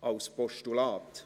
als Postulat.